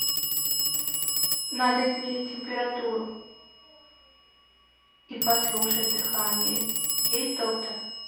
надо измерить температуру и послушать дыхание есть доктор